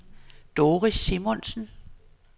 Doris Simonsen